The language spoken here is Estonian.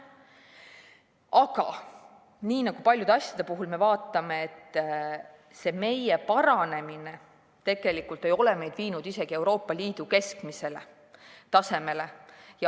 Aga nii nagu paljude asjade puhul, see meie paranemine ei ole meid viinud isegi Euroopa Liidu keskmisele tasemele.